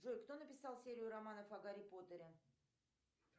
джой кто написал серию романов о гарри поттере